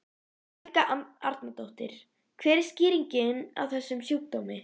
Helga Arnardóttir: Hver er skýringin á þessum sjúkdómi?